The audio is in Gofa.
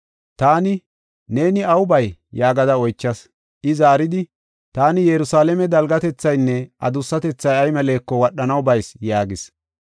Taani, “Neeni aw bay?” yaagada oychas. I zaaridi, “Taani Yerusalaame dalgatethaynne adussatethay ay meleko wadhanaw bayis” yaagis.